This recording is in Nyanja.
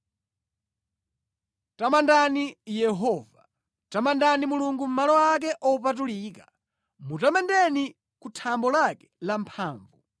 Tamandani Yehova. Tamandani Mulungu mʼmalo ake opatulika; mutamandeni ku thambo lake lamphamvu.